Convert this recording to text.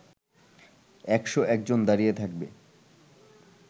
একশ একজন দাঁড়িয়ে থাকবে